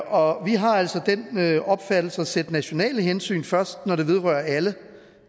og vi har altså den opfattelse at sætte nationale hensyn først når det vedrører alle